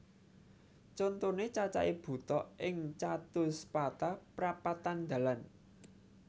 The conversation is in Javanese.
Contoné cacahé buta ing catuspata prapatan dalan